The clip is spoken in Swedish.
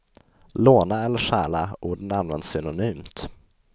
Låna eller stjäla, orden används synonymt.